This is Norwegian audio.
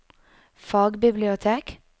fagbibliotek